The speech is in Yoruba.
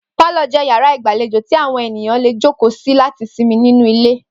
Pálò̩ jé̩ yàrá ìgbàlejò tí àwo̩n ènìyàn lè jókòó sí láti simi nínú ilé